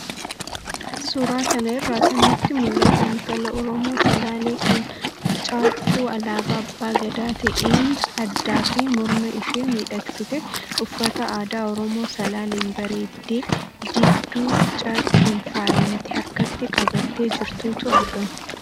Suuraa kana irraa kan nutti mul'attu, intala Oromoo Salaalee kan caaccuu alaabaa abbaa gadaa ta'een addaa fi morma ishee miidhagsitee, uffata aadaa Oromoo Salaaleen bareeddee dibduu caaccuun faayame harkatti qabattee jirtutu argama.